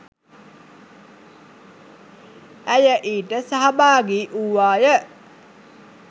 ඇය ඊට සහභාගී වූවාය.